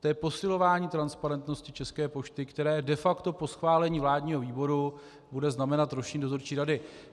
To je posilování transparentnosti České pošty, které de facto po schválení vládního výboru bude znamenat rušení dozorčí rady.